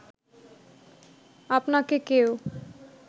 আপনাকে কেউ